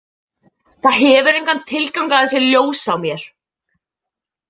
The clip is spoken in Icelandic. "Það hefur engan tilgang að það sé ljós á mér. """